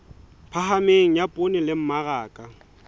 phahameng ya poone le mmaraka